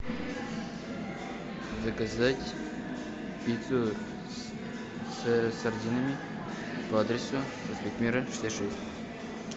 заказать пиццу с сардинами по адресу проспект мира шестьдесят шесть